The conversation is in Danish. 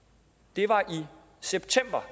det var i september